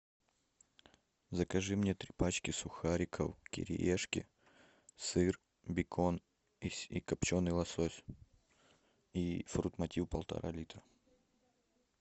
закажи мне три пачки сухариков кириешки сыр бекон и копченый лосось и фрутмотив полтора литра